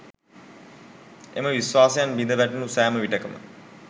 එම විශ්වාසයන් බිඳ වැටුනු සැම විටෙකම